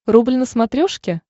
рубль на смотрешке